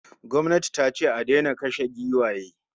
Gwamnati tace a daina kashe giwaye